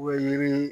O ye yiri